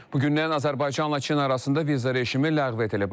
Bugündən Azərbaycan-Çin arasında viza rejimi ləğv edilib.